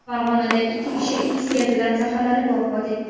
Farg‘onada ikki kishi is gazidan zaharlanib vafot etdi.